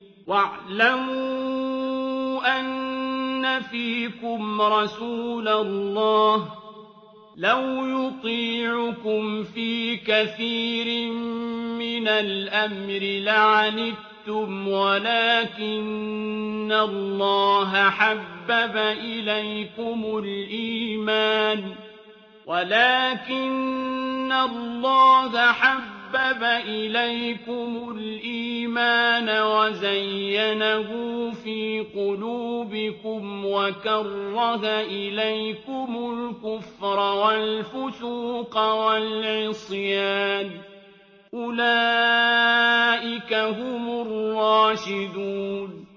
وَاعْلَمُوا أَنَّ فِيكُمْ رَسُولَ اللَّهِ ۚ لَوْ يُطِيعُكُمْ فِي كَثِيرٍ مِّنَ الْأَمْرِ لَعَنِتُّمْ وَلَٰكِنَّ اللَّهَ حَبَّبَ إِلَيْكُمُ الْإِيمَانَ وَزَيَّنَهُ فِي قُلُوبِكُمْ وَكَرَّهَ إِلَيْكُمُ الْكُفْرَ وَالْفُسُوقَ وَالْعِصْيَانَ ۚ أُولَٰئِكَ هُمُ الرَّاشِدُونَ